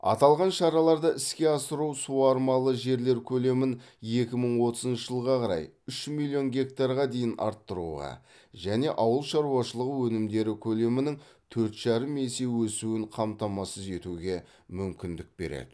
аталған шараларды іске асыру суармалы жерлер көлемін екі мың отызыншы жылға қарай үш миллион гектарға дейін арттыруға және ауыл шаруашылығы өнімдері көлемінің төрт жарым есе өсуін қамтамасыз етуге мүмкіндік береді